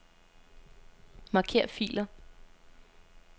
Marker filer.